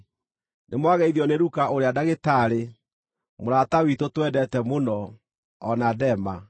Nĩmwageithio nĩ Luka ũrĩa ndagĩtarĩ, mũrata witũ twendete mũno, o na Dema.